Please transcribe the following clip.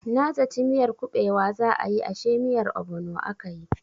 Na zaci miyar kubewa za a yi ashe miyar obono akayi.